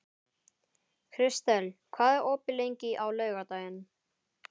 Kristel, hvað er opið lengi á laugardaginn?